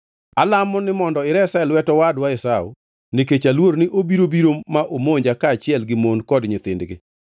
Alamo ni mondo iresa e lwet owadwa Esau nikech aluor ni obiro biro ma omonja kaachiel gi mon kod nyithindgi.